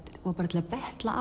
til að betla